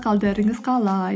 қалдарыңыз қалай